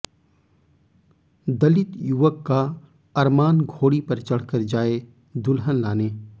दलित युवक का अरमान घोड़ी पर चढ़ कर जाए दुल्हन लाने